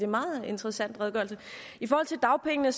meget interessant redegørelse i forhold til dagpengene